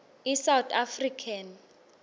i south african